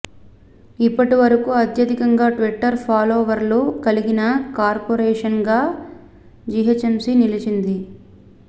ఇప్పటి వరకు అత్యధికంగా ట్విటర్ ఫాలోవర్లు కలిగిన కార్పొరేషన్గా జీహెచ్ఎంసీ నిలిచింది